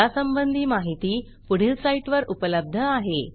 यासंबंधी माहिती पुढील साईटवर उपलब्ध आहे